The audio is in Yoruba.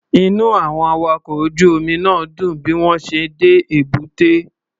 Inú àwọn awakọ̀ ojú omi náà dùn bí wọ́n ṣe dé èbúté.